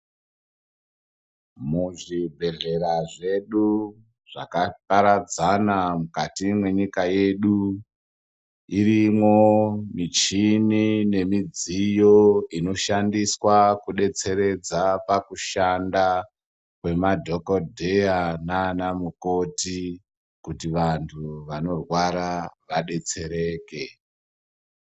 Muzvibhedhlera zvedu zvakaparadzana mukati mwenyika yedu irimwo michini nemidziyo inoshandiswa kudetseredza pakushanda kwemadhokodheya nanamukoti kuti vantu vanorwara vadetsereke